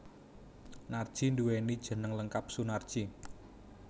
Narji nduwéni jeneng lengkap Sunarji